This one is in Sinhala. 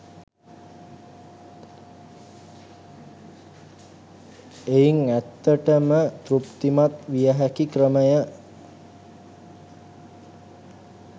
එයින් ඇත්තට ම තෘප්තිමත් විය හැකි ක්‍රමය